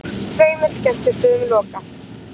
Tveimur skemmtistöðum lokað